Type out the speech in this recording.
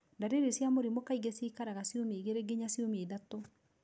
Ndariri cia mũrimũ kaingĩ ciikaraga ciumia igĩrĩ ginya ciumia ithatũ.